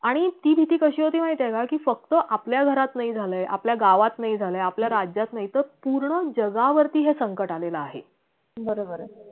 आणि ती भीती कशी होती माहितीये ना कि फक्त आपल्या घरात नाही झालय आपल्या गावात नाही झालय आपल्या राज्यात नाही पूर्ण जगावरती हे संकट आलेलं आहे